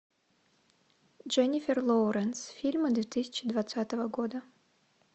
дженнифер лоуренс фильмы две тысячи двадцатого года